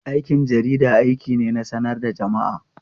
Aikin jarida aiki ne na sanar da jama'a.